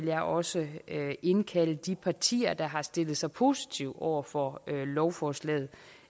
jeg også indkalde de partier der har stillet sig positive over for lovforslaget